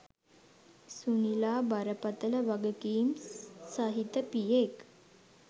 සුනිලා බරපතල වගකීම් සහිත පියෙක්.